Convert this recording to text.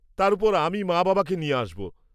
তার ওপর আমি মা বাবাকে নিয়ে আসব।